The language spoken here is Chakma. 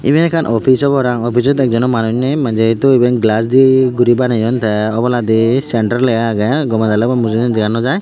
iben ekka office parang offisot ekjonw manus nei manjei hitu iben glass dei guri baneyon tey obladi center lega agey gomey daley mujungedi dega noh jai.